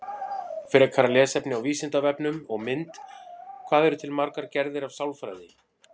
Frekara lesefni á Vísindavefnum og mynd Hvað eru til margar gerðir af sálfræði?